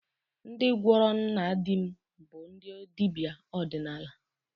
Ndị gwọrọ nna di m bụ ndị dibịa ọdịnala